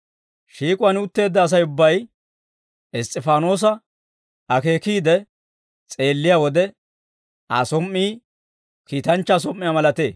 Shiik'uwaan utteedda Asay ubbay Iss's'ifaanoosa akeekiide s'eelliyaa wode, Aa som"i kiitanchchaa som"iyaa malatee.